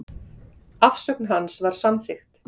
Afsögn hans var samþykkt.